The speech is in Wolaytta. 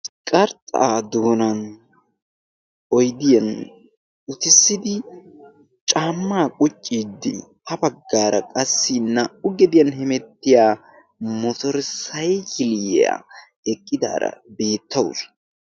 qarxxaa doonan oydiyan utissidi caammaa qucciiddi ha baggaara qassi naa77u gediyan hemettiya motorisaikilyiyaa eqqidaara beettausu